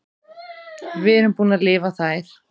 Við erum búin að lifa þær.